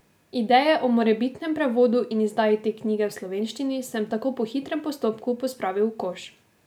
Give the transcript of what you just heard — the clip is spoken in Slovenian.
Ideje o morebitnem prevodu in izdaji te knjige v slovenščini sem tako po hitrem postopku pospravil v koš.